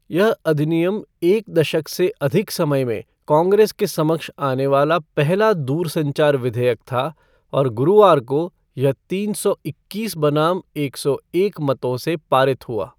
यह अधिनियम एक दशक से अधिक समय में काँग्रेस के समक्ष आने वाला पहला दूरसंचार विधेयक था और गुरुवार को यह तीन सौ इक्कीस बनाम एक सौ एक मतों से पारित हुआ।